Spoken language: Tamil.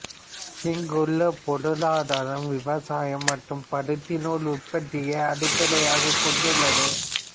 இங்குள்ள பொருளாதாரம் விவசாயம் மற்றும் பருத்திநூல் உற்பத்தியை அடிப்படையாகக் கொண்டுள்ளது